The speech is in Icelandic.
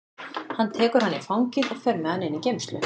Hann tekur hann í fangið og fer með hann inn í geymslu.